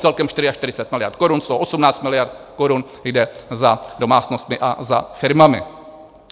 Celkem 44 miliard korun, z toho 18 miliard korun jde za domácnostmi a za firmami.